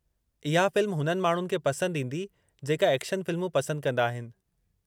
इहा फ़िल्म हुननि माण्हुनि खे पंसदि ईंदी जेका एक्शन फिल्मूं पसंदि कंदा आहिनि।